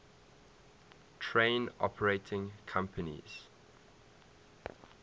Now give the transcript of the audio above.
train operating companies